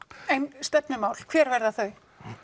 en stefnumál hver verða þau